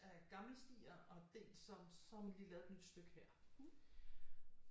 Af gamle stier og dels som så har man lige lavet et nyt stykke her